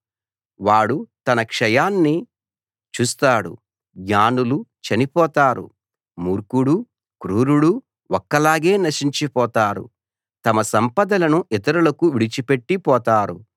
వాడు తన క్షయాన్ని చూస్తాడు జ్ఞానులు చనిపోతారు మూర్ఖుడూ క్రూరుడూ ఒక్కలాగే నశించిపోతారు తమ సంపదలను ఇతరులకు విడిచిపెట్టి పోతారు